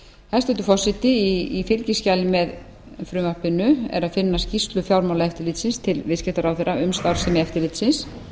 hæstvirtur forseti í fylgiskjali með frumvarpinu er að finna skýrslu fjármálaeftirlitsins til viðskiptaráðherra um starfsemi eftirlitsins